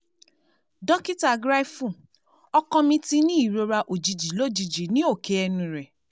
Dokita Griefu, ọkọ mi ti ní ìrora òjijì lójijì ní òke ẹnu rẹ̀